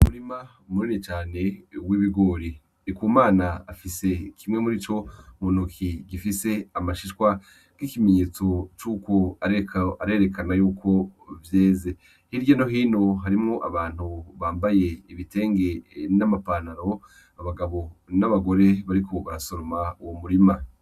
Umurima munini cane w'ibigori. Ndikumana afise kimwe murico mu ntoki gifise amashishwa nk'ikimenyetso cuko ariko arerekana yuko vyeze. Hirya no hino harimwo abantu bambaye ibitenge n'ama pantaro. Abagabo n'abagore bariko barasoroma uwo murima.